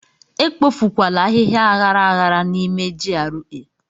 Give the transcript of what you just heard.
Ekpofukwala ahịhịa aghara aghara n'ime GRA!